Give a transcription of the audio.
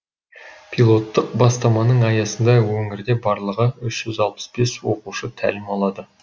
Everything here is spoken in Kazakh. пилоттық бастаманың аясында өңірде барлығы үшь жүз алпыс бес оқушы тәлім алды